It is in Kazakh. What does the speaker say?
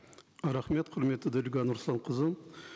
рахмет құрметті дариға нұрсұлтанқызы